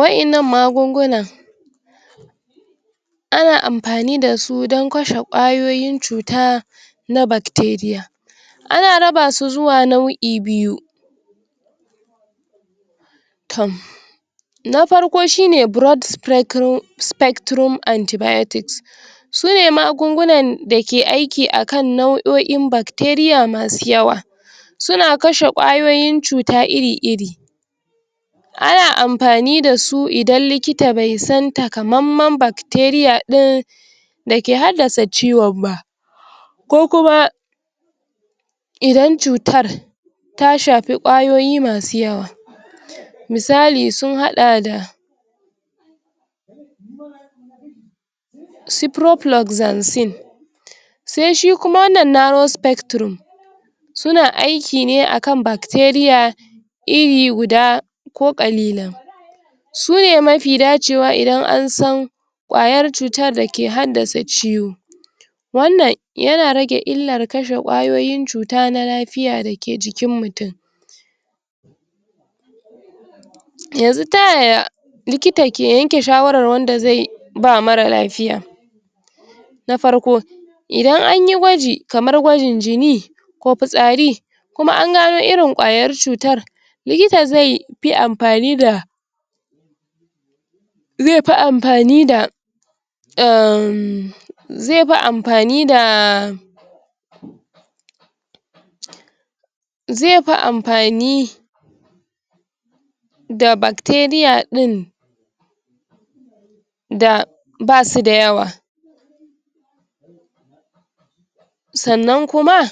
waƴannan magunguna ana anfani da su don kasho kwayoyin cuta na bacteria ana raba su zuwa nau'i biyu na farko shine broad specrum spectrum anti biotic sune magungunan dake aiki akan nauo'un bacteria masu yawa suna kashe kwayoyin cuta iri iri ana anpani dasu ida likita bai san takamamman bacteria ɗin dake haddasa ciwon ma kokum idan cutar ta shafi kwayoyi masu yawa misali sun haɗa da cyprohluxacin se shi kuma wannan narrow spectrum suna aiki ne akan bacteria iri guda ko kalilan ko ƙalilan sune mafi dacewa idan ansan ƙwayar cutar dake haddasa ciwo wanan yana rage illar kashe ƙwayoyin cuta na lafiiya dake jikin mutun yanzu tayaya likita ke yanke shawaran wanda ze ba mara lafiya na farko idan anyi gwaji kamar gwajin jini ko pitsari kuma angano irin kwayar cutar likita ze pi anpani da ze pi anpani da um ze fi anfani daa ze fi anfani da bacteria ɗin da basu da yawa sanan kuma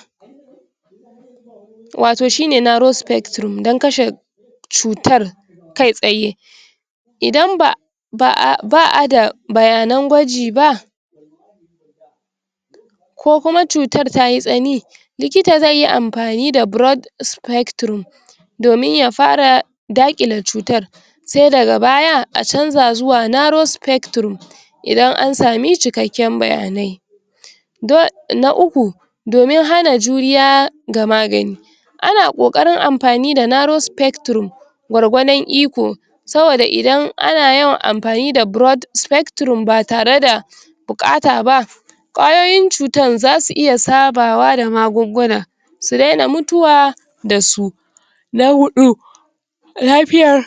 wato shi ne narrow spectrum dan kashe cutar kai tsaye idan ba ba'a, ba'da bayanan gwaji ba ko kuma cutar tayi tsani likita ze yi anfani da broad spectrum domin ya fara daƙile cutar sai daga baya a canza zuwa narrow spectrum idan ansami cikeken bayanai dol na uku domin hana juriya ga magani ana ƙokarin anfani da narrow spectrum gwargwadon iko saboda idan ana yawan anfani da broad spectrum ba tareda bukata ba ƙwayoyin cutan zasu iya sabawa da magungunan su daina mutuwa na huƙu lafiyar